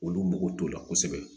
Olu mago t'o la kosɛbɛ